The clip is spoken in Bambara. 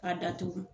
Ka datugu